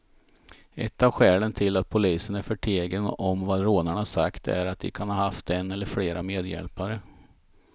Ett av skälen till att polisen är förtegen om vad rånarna sagt är att de kan ha haft en eller flera medhjälpare.